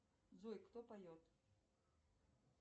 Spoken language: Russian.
джой кто поет